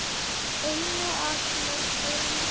Einu af mörgum.